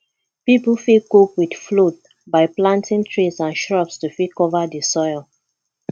pipo fit cope with flood by planting trees and shrubs to fit cover di soil